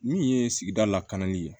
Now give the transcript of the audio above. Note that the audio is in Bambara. Min ye sigida lakanali ye